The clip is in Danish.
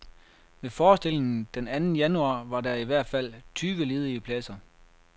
Ved forestillingen den anden januar var der i hvert fald tyve ledige pladser.